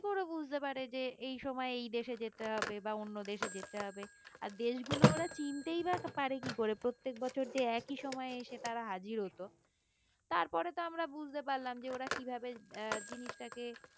কি করে বুঝতে পারে যে এই সময়ে এই দেশে যেতে হবে বা অন্য দেশে যেতে হবে আর দেশগুলো ওরা চিনতেই বা পারে কি করে প্রত্যেক বছর যে একই সময়ে এসে তারা হাজির হতো তারপরে তো আমরা বুঝতে পারলাম যে ওরা কিভাবে আহ জিনিসটাকে